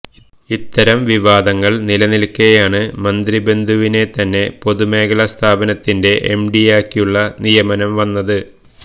ഇത്തരം വിവാദങ്ങൾ നിലനിൽക്കെയാണ് മന്ത്രിബന്ധുവിനെത്തന്നെ പൊതുമേഖല സ്ഥാപനത്തിന്റെ എംഡിയാക്കിയുള്ള നിയമനം വന്നത്